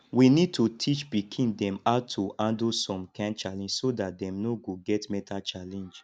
we need to teach pikin dem how to handle some kind challenge so dat dem no go get mental challenge